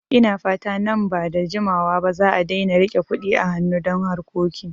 Ina fata nan ba da jimawa ba za'a daina rike Kuɗi a hanu don harkoki